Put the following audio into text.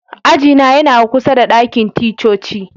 Aji na yana kusa da dakin ticcoci.